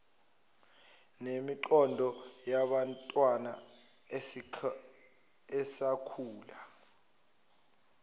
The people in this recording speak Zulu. nemiqondo yabantwana esakhula